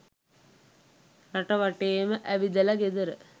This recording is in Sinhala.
රට වටේම ඇවිදල ගෙදර